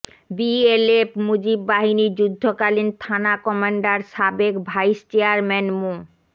BLF Mujib বাহিনীর যুদ্ধকালীন থানা কমান্ডার সাবেক ভাইস চেয়ারম্যান মো